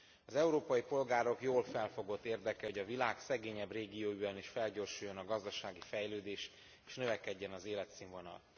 Az európai polgárok jól felfogott érdeke, hogy a világ szegényebb régióiban is felgyorsuljon a gazdasági fejlődés és növekedjen az életszínvonal.